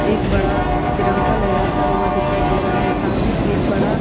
एक बड़ा तिरंगा लहराता हुआ दिखाई दे रहा है सामने एक बड़ा --